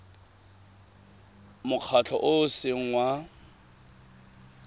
mokgatlho o o seng wa